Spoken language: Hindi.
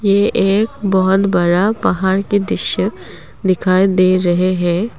ये एक बहुत बड़ा पहार के दृश्य दिखाई दे रहे है।